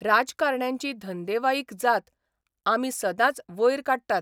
राजकारण्यांची धंदेवाईक जात आमी सदांच वयर काडटात.